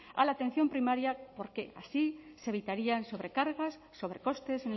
a la atención primaria porque así se evitarían sobrecargas sobrecostes